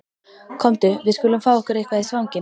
Komdu, við skulum fá okkur eitthvað í svanginn